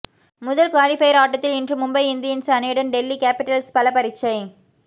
முதல் குவாலிபயர் ஆட்டத்தில் இன்று மும்பை இந்தியன்ஸ் அணியுடன் டெல்லி கேப்பிடல்ஸ் பலப்பரீட்சை